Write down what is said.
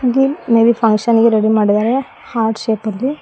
ಗಿ maybe function ಗೆ ready ಮಾಡಿದಾರೆ ಹಾರ್ಟ್ ಶೇಪಲ್ಲಿ--